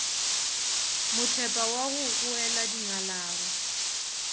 mothepa wa go kgoela dinngalaba